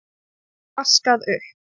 Vaskað upp.